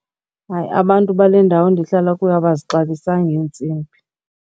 Hayi, abantu bale ndawo ndihlala kuyo abazixabisanga iintsimbi.